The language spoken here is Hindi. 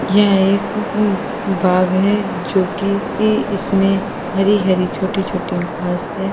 यह एक बाग है जो कि इसमे हरी हरी छोटी छोटी घास है।